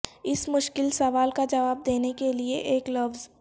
اس مشکل سوال کا جواب دینے کے لئے ایک لفظ